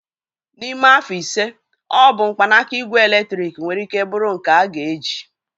N'ime afọ ise, ọ bụ mkpanaka igwe eletrik nwere ike bụrụ nke a ga-eji.